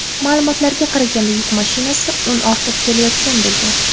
Ma’lumotlarga qaraganda, yuk mashinasi un ortib kelayotgan bo‘lgan.